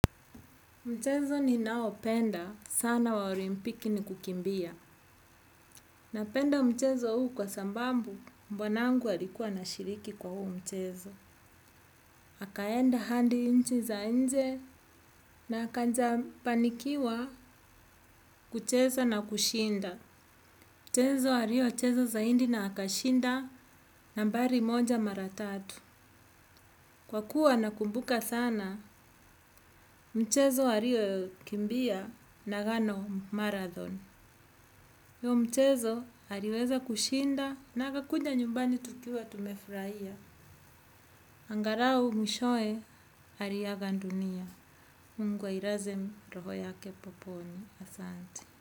Mchezo ninaopenda sana wa olimpiki ni kukimbia. Napenda mchezo huu kwa sambambu bwanangu alikua anashiriki kwa huu mchezo. Akaenda hadi nchi za nje na akaja fanikiwa kucheza na kushinda. Mchezo alio cheza zaidi na akashinda nambari moja mara tatu. Kwa kuwa nakumbuka sana mchezo alio kimbia nagano marathon. Hiyo mchezo aliweza kushinda na akakuja nyumbani tukiwa tumefurahia. Angalau mwishowe aliaga dunia. Mungu ailaze roho yake peponi asante.